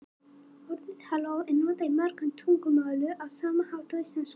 orðið halló er notað í mörgum tungumálum á sama hátt og í íslensku